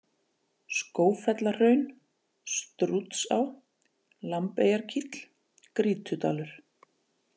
Skógfellahraun, Strútsá, Lambeyjarkíll, Grýtudalur